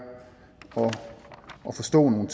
at forstå nogle